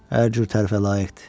Hər cür tərifə layiqdir.